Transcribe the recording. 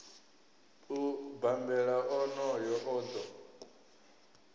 u bambela onoyo o ḓo